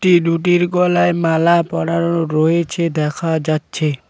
এদুটির গলায় মালা পরানো রয়েছে দেখা যাচ্ছে।